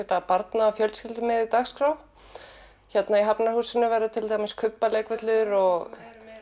barna og fjölskyldumiðuð dagskrá hér í Hafnarhúsi verður til dæmis kubbaleikvöllur og